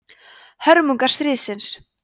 hörmungar stríðsins